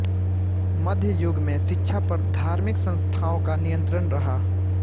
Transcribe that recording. मध्य युग में शिक्षा पर धार्मिक संस्थाओं का नियंत्रण रहा